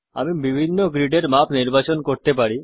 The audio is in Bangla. আমরা বিভিন্ন গ্রিডের মাপ নির্বাচন করতে পারি